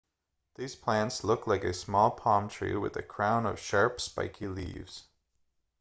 these plants look like a small palm tree with a crown of sharp spiky leaves